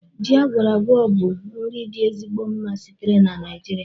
Ji agwora-agwo bụ nri dị ezigbo mma sitere na nijiria